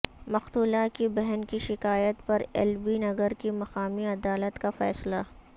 مقتولہ کی بہن کی شکایت پر ایل بی نگر کی مقامی عدالت کا فیصلہ